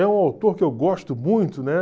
É um autor que eu gosto muito, né?